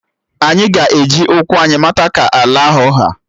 Anyị ga-eji ụkwụ anyị mata ka ala ahụ ha